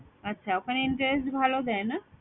আচ্ছা ওখানে interest ভালো দেয় না?